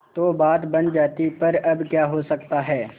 तो बात बन जाती पर अब क्या हो सकता है